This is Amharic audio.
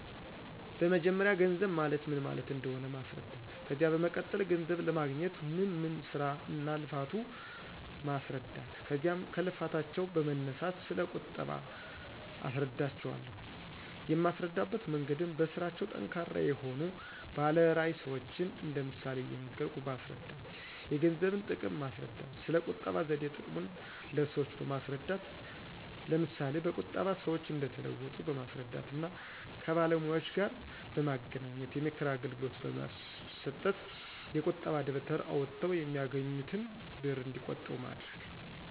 በመጀመርያ ገንዘብ ማለት ምን ማለት እንደሆነ ማስረዳት። ከዚያ በመቀጠል ገንዘብ ለማግኞት ምን ምን ስራ እና ልፋቱ ማስረዳት ከዚያም ከልፋታቸው በመነሳት ስለ ቁጠባ አስረዳቸው አለሁ። የማስረዳበት መንገድም በስራቸው ጠንካራ የሆኑ ባለ ራዕይ ሰዎችን እንደ ምሳሌ እየነገርኩ በማስረዳት። የገንዘብን ጥቅም ማስረዳት። ስለ ቁጠባ ዘዴ ጥቅሙን ለሰዎች በማስረዳት ለምሳ በቁጠባ ሰዎች እንደተለወጡ በማስረዳት እና ከባለሙያዎጋር በማገናኝት የምክር አገልግሎት በማሰጠት። የቁጣ ደብተር አውጠው የሚያገኙትን ብር እንዲቆጥቡ ማድረግ